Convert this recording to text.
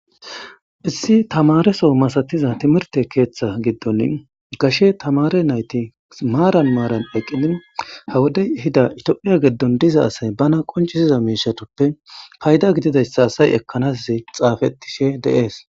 Issi tamareso masatiza timirte keeththa giddon gashe tamare nayti maaran maaran eqqini hawodey hida itophiya geddon diza asay bana qoncisiza miishatoppe payda gididayssa asay ekkanass xaafetishe deees